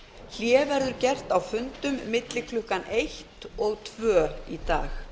hlé verður gert á fundum milli klukkan eitt og tvö í dag